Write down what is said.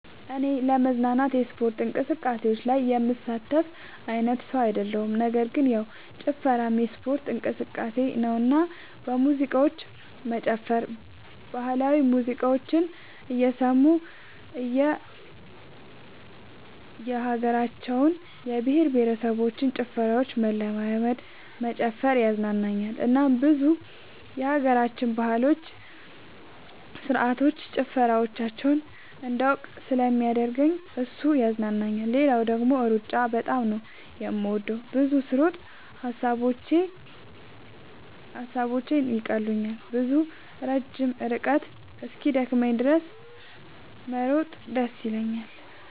እኔ ለመዝናናት የስፖርት እንቅስቃሴዎች ላይ የምሳተፍ አይነት ሰው አይደለሁም ነገር ግን ያው ጭፈራም የስፖርት እንቅስቃሴ ነውና በሙዚቃዎች መጨፈር ባህላዊ ሙዚቃዎችን እየሰሙ የእየሀገራቸውን የእየብሄረሰቦችን ጭፈራ መለማመድ መጨፈር ያዝናናኛል እናም ብዙ የሀገራችንን ባህሎች ስርዓቶች ጭፈራዎቻቸውን እንዳውቅ ስለሚያደርገኝ እሱ ያዝናናኛል። ሌላው ደግሞ ሩጫ በጣም ነው የምወደው። ብዙ ስሮጥ ሐሳቦቼን ይቀሉልኛል። ብዙ ረጅም ርቀት እስኪደክመኝ ድረስ መሮጥ ደስ ይለኛል።